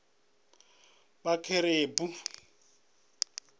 vhakerube